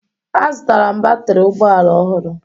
Azụtara m batrị ụgbọ ala ọhụrụ